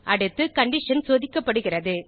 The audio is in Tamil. அடுத்து கண்டிஷன் சோதிக்கப்படுகிறது